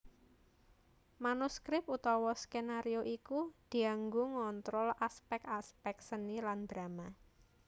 Manuskrip utawa skenario iku dianggo ngontrol aspèk aspèk seni lan drama